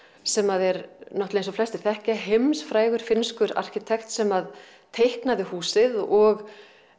sem er náttúrulega eins og flestir þekkja heimsfrægur finnskur arkitekt sem teiknaði húsið og